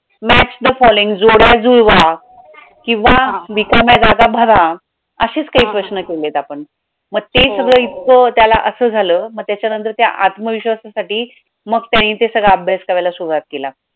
match the following जोड्या जुळवा किंवा रिकाम्या जागा भरा अशीच काही प्रश्न केले आपण मग ते सगळ इतकं त्याला असं झाल मग त्याच्यानंतर त्या आत्मविश्वासासाठी मग त्यांनी ते सगळं अभ्यास करायला सुरुवात केला.